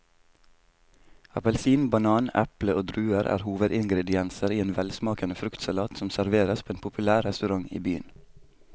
Appelsin, banan, eple og druer er hovedingredienser i en velsmakende fruktsalat som serveres på en populær restaurant i byen.